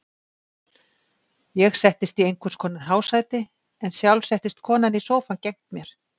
Ég settist í einhvers konar hásæti en sjálf settist konan í sófa gegnt mér.